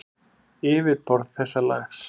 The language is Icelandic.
Yfirborð þessa lags